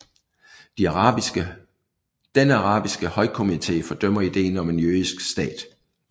Den arabiske højkomité fordømte ideen om en jødisk stat